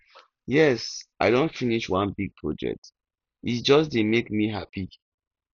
yes i don finish one big project e just dey make me happy